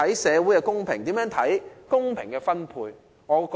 如何看待公平的分配？